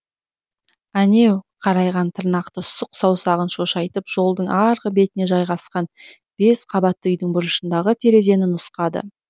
әнеу қарайған тырнақты сұқ саусағын шошайтып жолдың арғы бетіне жайғасқан бес қабатты үйдің бұрышындағы терезені нұсқады